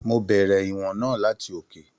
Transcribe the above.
Mo bẹrẹ ìwọ̀n náà láti òkè.